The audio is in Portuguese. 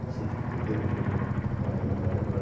Não sei de que governo foi, não me falha a memória agora.